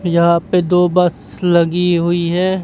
यह पे दो बस लगी हुई है।